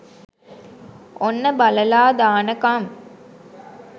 ඔන්න බලාලා දානකම්